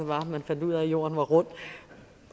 man fandt ud af at jorden er rundt